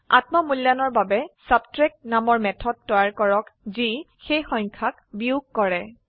আত্ম মূল্যায়নৰ বাবে ছাবট্ৰেক্ট নামৰ মেথড তৈয়াৰ কৰক যি সেই সংখ্যাক বিয়োগ কৰে